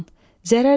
Zərər yox,